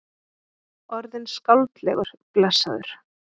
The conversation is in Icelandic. Orðinn skáldlegur, blessaður.